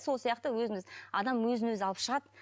сол сияқты өзіміз адам өзін өзі алып шығады